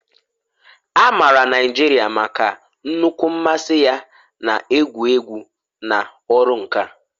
A maara Naijiria maka nnukwu mmasị ya na egwu egwu na ọrụ nka